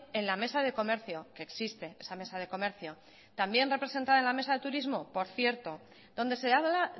en la mesa de comercio que existe esa mesa de comercio también representada en la mesa de turismo por cierto donde se habla